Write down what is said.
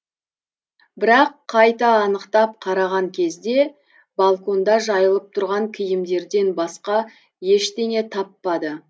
бірақ қайта анықтап қараған кезде балконда жайылып тұрған киімдерден басқа ештеңе таппады